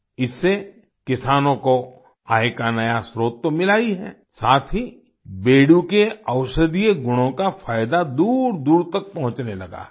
इससे किसानों को आय का नया स्त्रोत तो मिला ही है साथ ही बेडू के औषधीय गुणों का फायदा दूरदूर तक पहुँचने लगा है